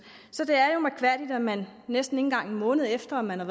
så det er jo mærkværdigt at man næsten ikke engang en måned efter at man har